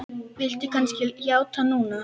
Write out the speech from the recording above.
Viltu kannski játa núna?